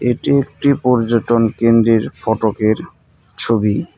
এটি একটি পর্যটন কেন্দ্রের ফটকের ছবি।